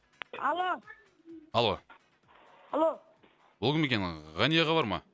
алло алло алло бұл кім екен ы ғани аға бар ма